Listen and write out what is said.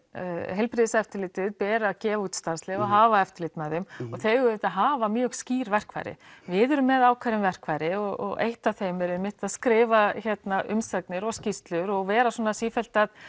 heilbrigðiseftirlitið ber að gefa út starfsleyfi og hafa eftirlit með þeim og þau auðvitað hafa mjög skýr verkfæri við erum með ákveðin verkfæri og eitt af þeim er einmitt að skrifa hérna umsagnir og skýrslur og vera sífellt að